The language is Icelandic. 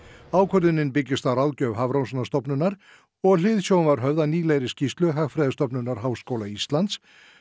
ákvörðunin byggist á ráðgjöf Hafrannsóknastofnunar og hliðsjón var höfð af nýlegri skýrslu Hagfræðistofnunar Háskóla Íslands